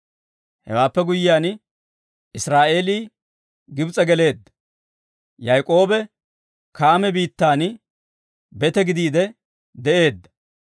Hewaappe guyyiyaan, Israa'eelii Gibs'e geleedda, Yayk'k'oobe Kaame biittan bete gidiide de'eedda.